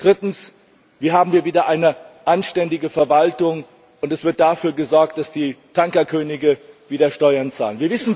Drittens Wie haben wir wieder eine anständige Verwaltung, und wie wird dafür gesorgt, dass die Tankerkönige wieder Steuern zahlen?